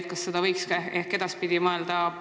Ja kas seda võiks ehk edaspidi teha?